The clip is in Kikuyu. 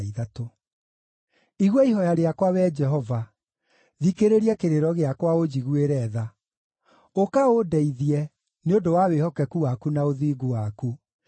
Igua ihooya rĩakwa, Wee Jehova, thikĩrĩria kĩrĩro gĩakwa ũnjiguĩre tha; ũka ũndeithie, nĩ ũndũ wa wĩhokeku waku na ũthingu waku.